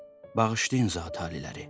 Bağışlayın, Zatı-aliləri!